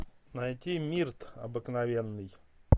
найти мирт обыкновенный